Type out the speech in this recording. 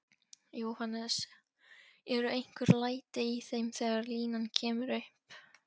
Jóhannes: Eru einhver læti í þeim þegar línan kemur upp?